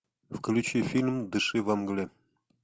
включи фильм дыши во мгле